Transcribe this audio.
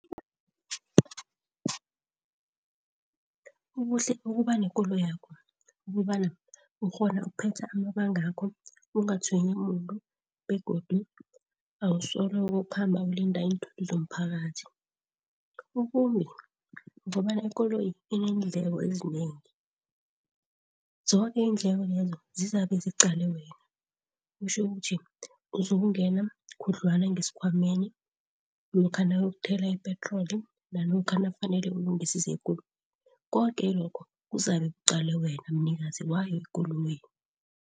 Ubuhle bokuba nekoloyakho ukobana ukghona ukuphetha amabangakho ungatshwenyi muntu begodu awusoloko ukhamba ulinda iinthuthi zomphakathi. Ubumbi kobana ikoloyi iinendleko ezinengi, zoke iindleko lezo zizabe ziqale wena. Kutjho ukuthi uzokungena khudlwana ngesikhwameni lokha nawuyokuthela ipetroli, nalokha nakufanele ulungise zekoloyi koke lokho kuzabe kuqale wena mnikazi wayo ikoloyi.